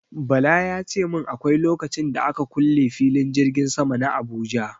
Bala ya ce min akwai lokacin da aka kule filin jirgin sama na Abuja.